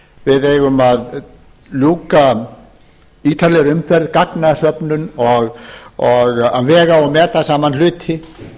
við eigum að ljúka ítarlegri umferð gagnasöfnun og vega og meta saman hluti